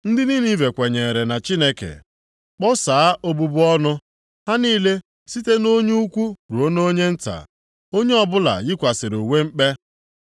Ndị Ninive kwenyeere na Chineke, kpọsaa obubu ọnụ, ha niile site nʼonye ukwu ruo nʼonye nta, onye ọbụla yikwasịrị uwe mkpe.